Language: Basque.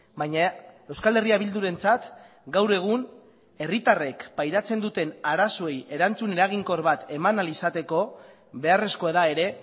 baina euskal herria bildurentzat gaur egun herritarrek pairatzen duten arazoei erantzun eraginkor bat eman ahal izateko beharrezkoa da ere